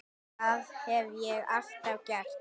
Það hef ég alltaf gert.